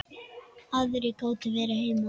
Aðrir gátu verið heima.